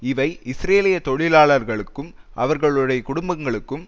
இவை இஸ்ரேலிய தொழிலாளர்களுக்கும் அவர்களுடைய குடும்பங்களுக்கும்